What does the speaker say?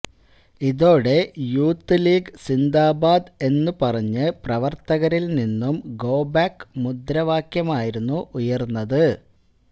ഇതോടെ youth league സിന്ദാബാദ് എന്ന് പറഞ്ഞ് പ്രവർത്തകരിൽ നിന്നും ഗോബാക്ക് മുദ്രാവാക്യമായിരുന്നു ഉയർന്നത്